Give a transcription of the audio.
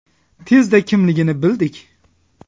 Tezda kimligini bildik.